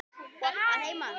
Að heiman?